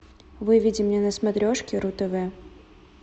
выведи мне на смотрешке ру тв